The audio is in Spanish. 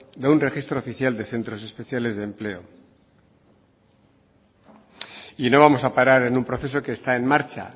de un registro oficial de centros especiales de empleo y no vamos a parar en un proceso que está en marcha